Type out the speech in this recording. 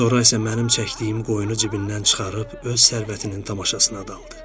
Sonra isə mənim çəkdiyim qoyunu cibindən çıxarıb öz sərvətinin tamaşasına daldı.